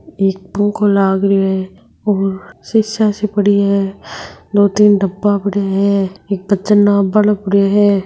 एक पो को लाग रहियो हैऔर शीशा से पड़ी है दो तीन डब्बा पड़िया है एक वजन नाप बा लो है।